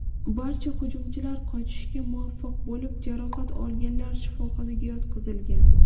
Barcha hujumchilar qochishga muvaffaq bo‘lib, jarohat olganlar shifoxonaga yotqizilgan.